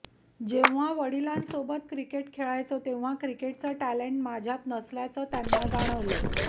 जेव्हा वडिलांसोबत क्रिकेट खेळायचो तेव्हा क्रिकेटचं टॅलेंट माझ्यात नसल्याचं त्यांना जाणवलं